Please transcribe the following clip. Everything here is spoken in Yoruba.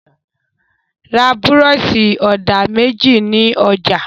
Ra búrọ́ṣì-ọ̀dà méjì ní ọjà!